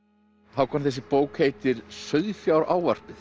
Hákon þessi bók heitir